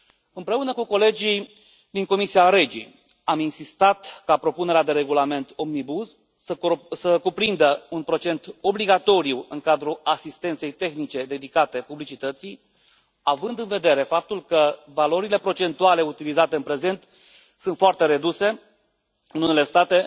Împreună cu colegii din Comisia REGI am insistat ca propunerea de regulament Omnibus să cuprindă un procent obligatoriu în cadrul asistenței tehnice dedicate publicității, având în vedere faptul că valorile procentuale utilizate în prezent sunt foarte reduse, în unele state